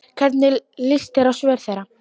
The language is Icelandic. Hvernig lýst þér á svör þeirra?